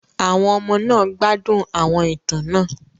Àwọn ọmọ náà gbádùn àwọn ìtàn náà.